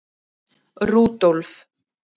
Rúdólf